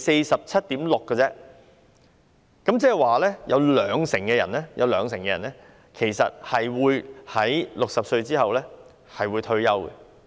只是 47.6% 而已，即有兩成人其實在60歲後退休。